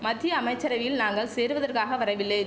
மத்திய அமைச்சரையில் நாங்கள் சேருவதற்காக வரவில்லை